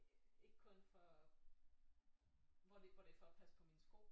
Ikke kun for hvor det hvor det hvor det for at passe på mine sko